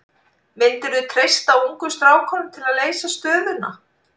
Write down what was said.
Myndirðu treysta ungu strákunum til að leysa stöðuna?